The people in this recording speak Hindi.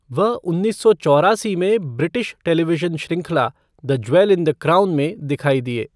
वह उन्नीस सौ चौरासी में ब्रिटिश टेलीविजन श्रृंखला the jewel in the crown में दिखाई दिए।